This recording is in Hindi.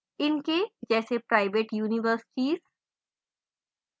इनके जैसे प्राइवेट universities